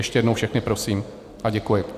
Ještě jednou všechny prosím a děkuji.